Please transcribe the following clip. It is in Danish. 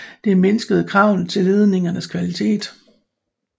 Det mindskede kravene til ledningernes kvalitet